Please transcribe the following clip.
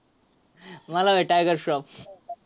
मला होय टायगर श्रॉफ.